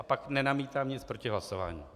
A pak nenamítám nic proti hlasování.